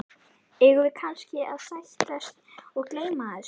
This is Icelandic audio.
Eigum við kannski að sættast og gleyma þessu?